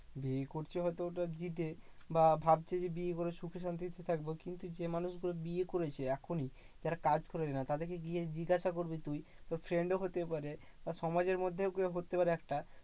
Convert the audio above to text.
বিয়ে করছে হয়তো ওদের বা ভাবছে যে বিয়ে করে সুখে শান্তিতে থাকবো। কিন্তু যে মানুষগুলো বিয়ে করেছে এখনই যারা কাজ করে না, তাদেরকে গিয়ে জিজ্ঞাসা করবি তুই? তোর friend ও হতে পারে বা সমাজের মধ্যেও কেউ হতে পারে একটা